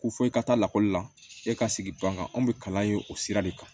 Ko fo i ka taa lakɔli la e ka sigi ban kan anw bɛ kalan ye o sira de kan